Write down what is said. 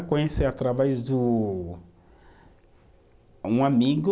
Conheci através do, um amigo,